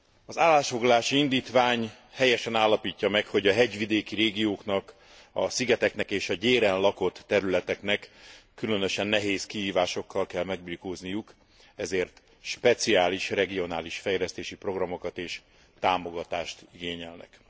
Az állásfoglalási indítvány helyesen állapítja meg, hogy a hegyvidéki régióknak, a szigeteknek és a gyéren lakott területeknek különösen nehéz kihívásokkal kell megbirkózniuk, ezért speciális regionális fejlesztési programokat és támogatást igényelnek.